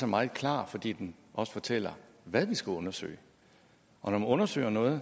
meget klar fordi den også fortæller hvad vi skal undersøge når man undersøger noget